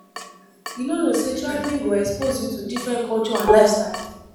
You no know say traveling go expose you to different culture and lifestyle